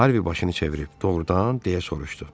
Harvi başını çevirib, doğrudan, deyə soruşdu.